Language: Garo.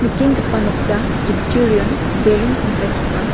noksa giptorion beren kampleks ong·a.